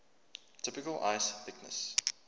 typical ice thickness